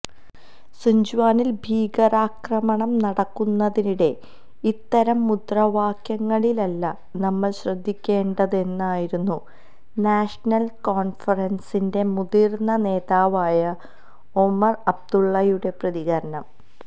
സുഞ്ച്വാനിൽ ഭീകരാക്രമണം നടക്കുന്നതിനിടെ ഇത്തരം മുദ്രാവാക്യങ്ങളിലല്ല നമ്മൾ ശ്രദ്ധിക്കേണ്ടതെന്നായിരുന്നു നാഷണൽ കോൺഫറൻസിന്റെ മുതിർന്ന നേതാവായ ഒമർ അബ്ദുള്ളയുടെ പ്രതികരണം